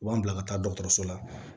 U b'an bila ka taa dɔkɔtɔrɔso la